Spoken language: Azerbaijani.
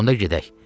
Onda gedək.